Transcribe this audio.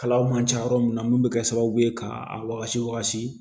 Kalaw man ca yɔrɔ min na mun bɛ kɛ sababu ye ka a wagasi